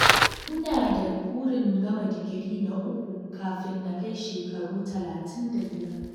Ina da burin gama digiri na uku kafin na kai shekaru talatin da biyar.